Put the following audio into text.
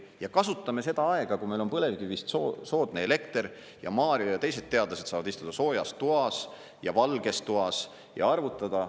Ja kasutame seda aega, kui meil on põlevkivist soodne elekter ja Mario ja teised teadlased saavad istuda soojas toas ja valges toas ja arvutada.